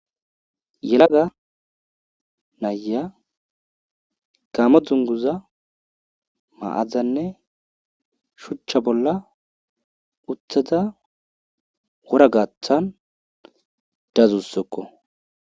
Yelaga nayiya gaamo dunguza ma'adanne shuuchcha bolla uttada wora gaatan dadusikko.